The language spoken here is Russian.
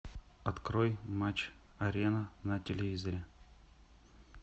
открой матч арена на телевизоре